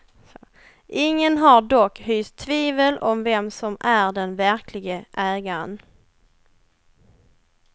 Ingen har dock hyst tvivel om vem som är den verklige ägaren.